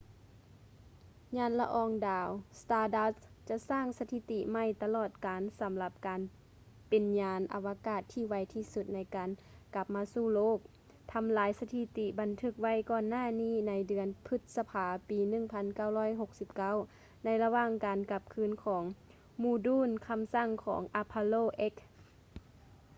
ຍານລະອອງດາວ stardust ຈະສ້າງສະຖິຕິໃໝ່ຕະຫຼອດການ ສຳລັບການເປັນຍານອະວະກາດທີ່ໄວທີ່ສຸດໃນການກັບມາສູ່ໂລກ ທຳລາຍສະຖິຕິທີ່ບັນທຶກໄວ້ກ່ອນໜ້ານີ້ໃນເດືອນ ພຶດສະພາ ປີ 1969 ໃນລະຫວ່າງການກັບຄືນຂອງໂມດູນຄຳສັ່ງຂອງ apollo x